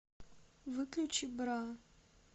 выключи бра